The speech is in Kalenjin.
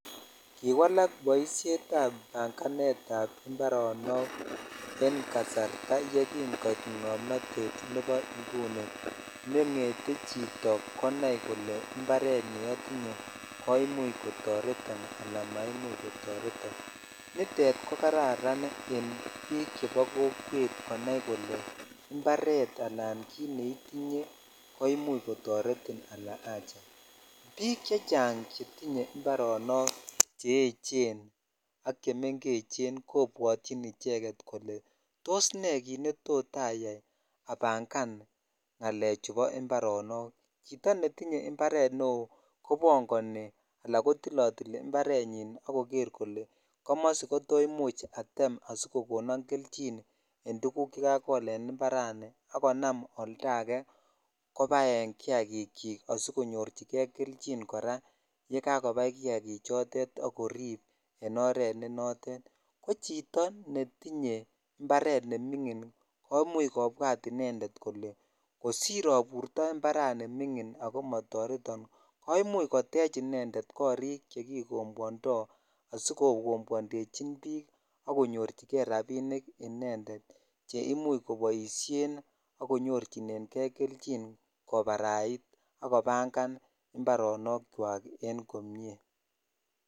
Kiwslak boishet ab banganet ab iparok en kasarta ye kin koit ngomnotet nebo inguni nengetee chito kole imparet neotinye koimuch kotoreton ala maimuch kotoretin nitet ko kararan en bik chebo kokwet imparet ala kit neitinye ko imuch kotoretin ala acha bik chechang chetinye imarok cheechen ak chemengeche kobwotin icheget kole tos ne kit netot again abangan ngalek ab imparonok chito imbaret neo kobongoni ala killotil imparet nyin ak korer kole komosi ko to imuch atem asikokonon kelchin en koguk che kakol en imparani konam oldakei kobaen kiyakik chikasikonyorchi kei kelchin kora ye kakobai kiyakik chik choret ak koripen oret ne notet ko chito netinye imparet nemingin ko imuch kobwat inended kole kosir aborts imparani mingin ak motoreton ko imuch kotec inended korik chekikombwondoi asikokombwondechi bik ak konyochijei rsbinik inended che imuch koboishen ak konyorchinen kei kelchin kobarait ak kobanfan imparonok chwak en komie.